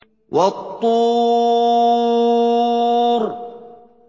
وَالطُّورِ